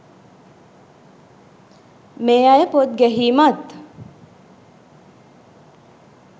මේ අය පොත් ගැහීමත්